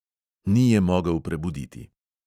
Ni je mogel prebuditi.